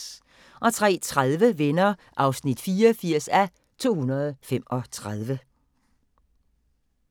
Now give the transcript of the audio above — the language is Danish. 03:30: Venner (84:235)